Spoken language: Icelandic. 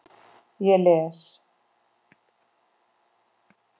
Ég les.